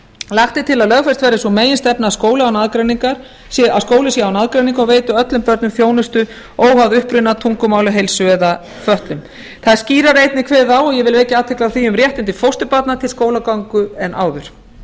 lagt er til að lögfest verði sú meginstefna að skóli sé án aðgreiningar og veiti öllum börnum þjónustu óháð uppruna tungumáli heilsu eða fötlun það er einnig kveðið skýrar á ég vil vekja athygli á því um réttindi fósturbarna til skólagöngu en áður